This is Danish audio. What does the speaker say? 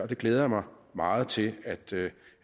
det glæder jeg mig meget til